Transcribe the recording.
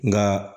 Nka